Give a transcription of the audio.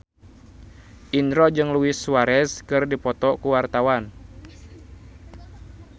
Indro jeung Luis Suarez keur dipoto ku wartawan